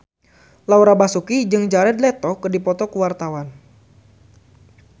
Laura Basuki jeung Jared Leto keur dipoto ku wartawan